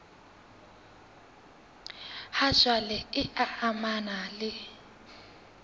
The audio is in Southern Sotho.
ha jwale e amanang le